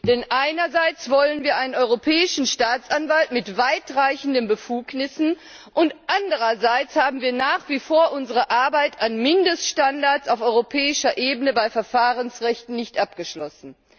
Denn einerseits wollen wir einen Europäischen Staatsanwalt mit weitreichenden Befugnissen und andererseits haben wir nach wie vor unsere Arbeit an Mindeststandards auf europäischer Ebene bei Verfahrensrechten nicht abgeschlossen.